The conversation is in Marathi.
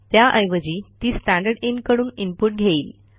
त्याऐवजी ती स्टँडरदिन कडून इनपुट घेईल